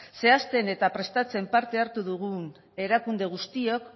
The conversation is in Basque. zehazten eta prestatzen parte hartu dugun erakunde guztiok